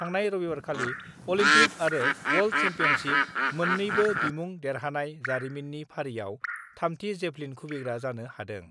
थांनाय रबिबारखालि अलिम्पिक आरो वर्ल्ड सेम्पियनसिप मोननैबो बिमुं देरहानाय जारिमिननि फारिआव थामथि जेभलिन खुबैग्रा जानो हादों।